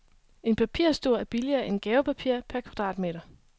En papirsdug er billigere end gavepapir per kvadratmeter.